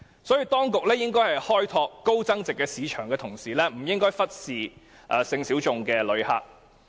所以，當局在開拓高增值市場的同時，不應該忽視性小眾的旅客。